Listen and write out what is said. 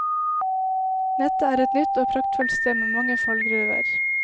Nettet er et nytt og praktfullt sted med mange fallgruver.